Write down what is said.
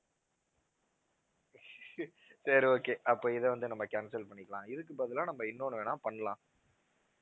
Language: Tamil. சரி okay அப்போ இதை வந்து நம்ம cancel பண்ணிக்கலாம் இதுக்கு பதிலா நம்ம இன்னொண்ணு வேணும்னா பண்ணலாம்